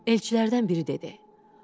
Elçilərdən biri dedi.